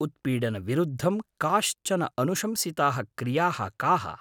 उत्पीडनविरुद्धं काश्चन अनुशंसिताः क्रियाः काः?